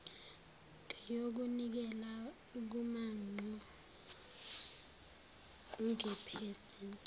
ngeyokunikela kumanpo ngephesenti